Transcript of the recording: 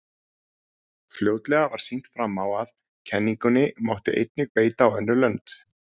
Fljótlega var sýnt fram á að kenningunni mátti einnig beita á önnur lönd.